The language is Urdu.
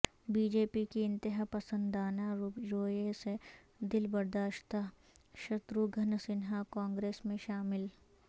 بی جے پی کی انتہا پسندانہ رویے سے دل برداشتہ شتروگھن سنہا کانگریس میں شامل